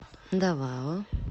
давао